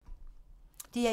DR1